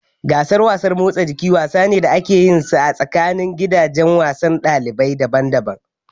Gasar wasan motsa jiki wasa ne da ake yinsa tsakanini gidajen wasan ɗalibai daban daban